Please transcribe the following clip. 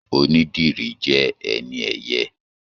Onídìrí jẹ ẹni ẹyẹ.